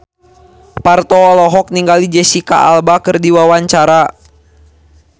Parto olohok ningali Jesicca Alba keur diwawancara